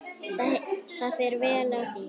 Það fer vel á því.